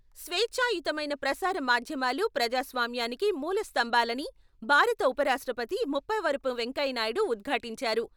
స్వేచ్ఛాయుతమైన ప్రసార మాధ్యమాలు ప్రజాస్వామ్యానికి మూల స్థంభాలని భారత ఉప రాష్ట్రపతి ముప్పవరపు వెంకయ్యనాయుడు ఉద్ఘాటించారు.